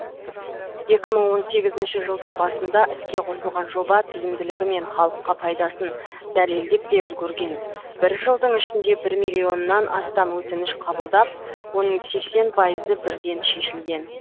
екі мың он сегізінші жылдың басында іске қосылған жоба тиімділігі мен халыққа пайдасын дәлелдеп те үлгерген бір жылдың ішінде бір миллионнан астам өтініш қабылдап оның сексен пайызы бірден шешілген